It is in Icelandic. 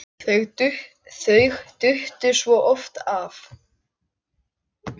Þau duttu svo oft af.